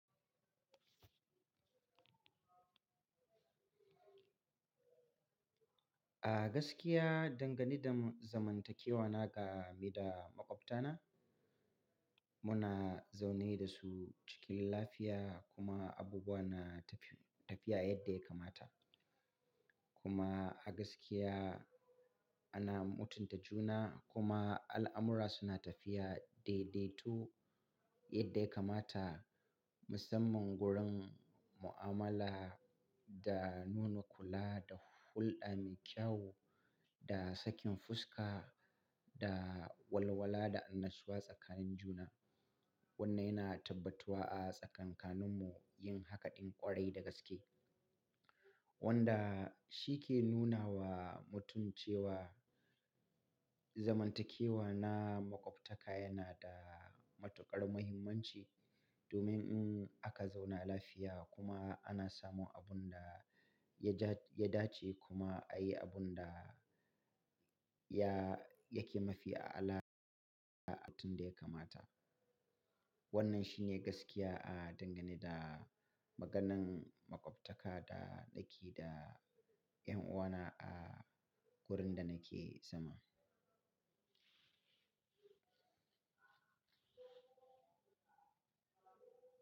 A gaskiya, dangane da zamantakewa na ga me da maƙwabtana, muna zaune da su cikin lafiya kuma abubuwa na tafiya yadda ya kamata. Kuma a gaskiya ana mutunta juna kuma al'amura suna tafiya daidaito yadda ya kamata. Musamman gurin mu'amala da nuna kula da hulɗa mai kyau da sakin fuska da walwala da annasuwa tsakanin juna. Wannan yana tabbatuwa a tsakaninmu yin hakaɗin ƙwarai da gaske. Wanda shi ke nuna wa mutum cewa zamantakewa na maƙwabtaka yana da matuƙar muhimmanci domin in aka zauna lafiya kuma ana samun abun da yaja ya dace kuma a yi abun da yake mafi a'ala da mutum da ya kamata. Wannan shi ne gaskiya a dangane da maganan maƙwabtaka da nake da 'yan uwana a gurin da nake zama.